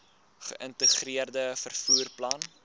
geïntegreerde vervoer plan